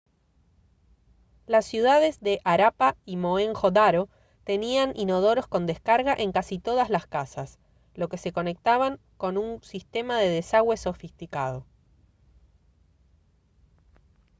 las ciudades de harappa y mohenjo-daro tenían inodoros con descarga en casi todas las casas los que se conectaban con un sistema de desagüe sofisticado